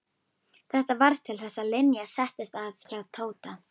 Þetta varð til þess að Linja settist að hjá Tóta.